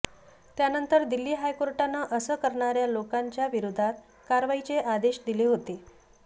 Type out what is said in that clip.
त्यानंतर दिल्ली हायकोर्टानं असं करणाऱ्या लोकांच्या विरोधात कारवाईचे आदेश दिले होते